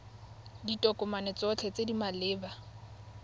ditokomane tsotlhe tse di maleba